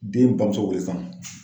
Den bamuso wele san.